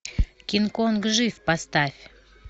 кинг конг жив поставь